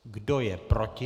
Kdo je proti?